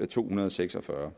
§ to hundrede og seks og fyrre